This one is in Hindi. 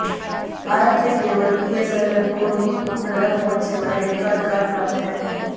भारत में केवल बीएसएनएल को ही उपग्रह फोन सेवाएं देने का अधिकार प्राप्त है